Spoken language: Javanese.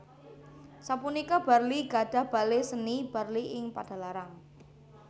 Sapunika Barli gadhah Bale Seni Barli ing Padalarang